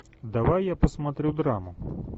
давай я посмотрю драму